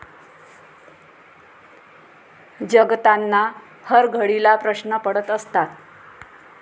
जगताना हरघडीला प्रश्न पडत असतात.